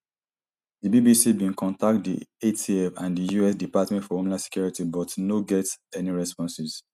di bbc bin contact di atf and the us department for homeland security but no get any responses